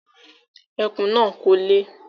Ẹkùn náà kò le